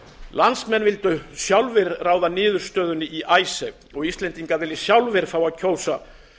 landsmenn vildu sjálfir ráða niðurstöðunni í icesave og íslendingar vilja sjálfir fá að kjósa